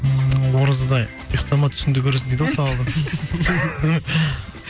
ммм оразада ұйықтама түсіңде көресің дейді ғой сауабын